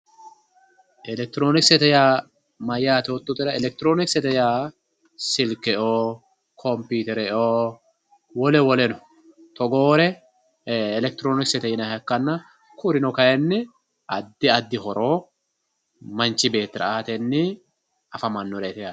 elektironikisete yaa mayaate yoototera elektironikisete yaa silkeoo kompiitereoo wole woleno togoore elektironiksete yinayiiha ikkanna kurino kaayiinni addi addi horo manchi beettira aatennin afamanoreeti yaate